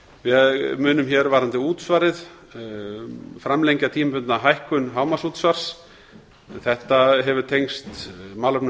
við munum hér varðandi útsvarið framlengja tímabundna hækkun hámarksútsvars þetta hefur tengst málefnum